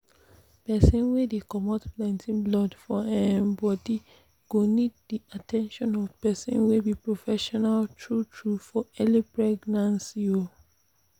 persin wey dey comot plenty blood for um body go need the at ten tion of persin wey be professional true true for early pregnancy um pause